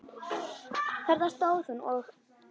Þarna stóð hún og.